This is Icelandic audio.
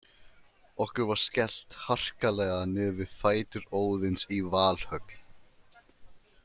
Okkur var skellt harkalega niður við fætur Óðins í Valhöll.